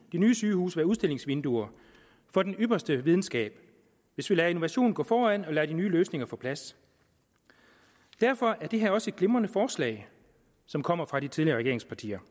nye sygehuse være udstillingsvinduer for den ypperste videnskab og hvis vi lader innovationen gå foran og lader de nye løsninger få plads derfor er det her også et glimrende forslag som kommer fra de tidligere regeringspartier